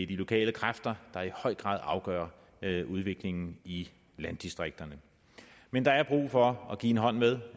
de lokale kræfter der i høj grad afgør udviklingen i landdistrikterne men der er brug for at give en hånd med